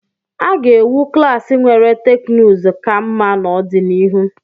A ga-ewu klaasị nwere teknụzụ ka mma n'ọdịnihu.